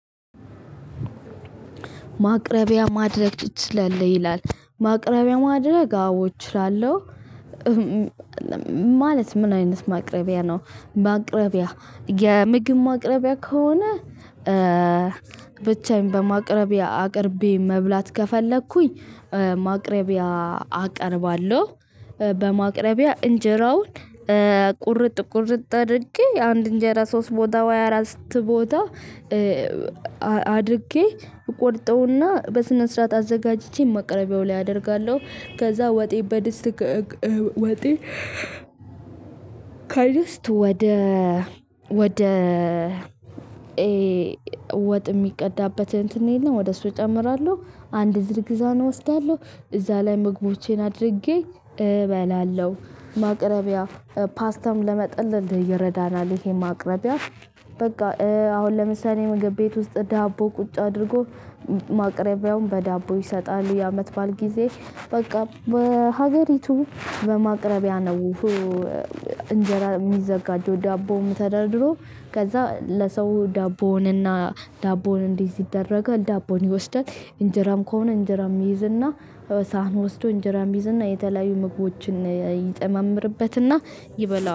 ማቅረቢያ ማድረግ ትችላለህ? ይላል ማቅረቢያ ማድረግ አወ እችላለሁ። ማለት ምን አይነት ማቅረቢያ ነው? ማቅረቢያ የምግብ ማቅረቢያ ከሆነ። ብቻየን በማቅረቢያ አቅርቤ መብላት ከፈለኩኝ ማቅረቢያ አቀርባለሁ። በማቅረቢያ እንጀራውን ቁርጥ ቁርጥ አድርጌ አንድ እንጀራ ሶስት ቦታ ወይ አራት ስድስት ቦታ። አድርጌ እቆርጠውና በስነ ስርዓት አዘጋጅቼ ማቅረቢያው ላይ አደርጋለሁ። ከዛ ወጤ በድስት ወጤ። ከድስት ወደ ወደ ወጥ የሚቀዳበትን እንትን የለም። ወደ እሱ እጨምራለሁ። አንድ ዝርግ ሰሃን እወስዳለሁ እዛ ላይ ምግቦቼን አድርጌ እበላለሁ። ማቅረቢያ ፓስተም ለማጥለል እየረዳና ነው። ይሄ ማቅረቢያ በቃ አሁን ለምሳሌ ምግብ ቤት ውስጥ ዳቦ ቁጭ አድርጎ ማቅረቢያውን በዳቦ ይሰጣሉ። የአመት በዓል ጊዜ በቃ በሀገሪቱ በማቅረቢያ ነው። እንጀራ ሚዘጋጀው ዳቦ ተደርድሮ ከዛ ለሰው ዳቦውን እና ዳቦውን እንዴት ይደረጋል? ዳቦወን ይወስዳል እንጀራም ከሆነ እንጀራም ይይዝ። ሳህን ወስዶ እንጀራ ይይዝ እና የተለያዩ ምግቦችን ይጨማምርበት እና ይበላል